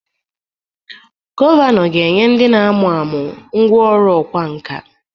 Gọvanọ ga-enye ndị na-amụ amụ ngwá ọrụ ọkwá nkà